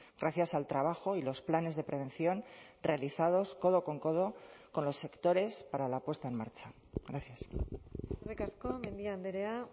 gracias al trabajo y los planes de prevención realizados codo con codo con los sectores para la puesta en marcha gracias eskerrik asko mendia andrea